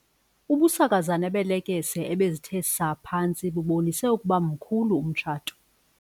Ubusakazane beelekese ebezithe saa phantsi bubonise ukuba mkhulu umtshato.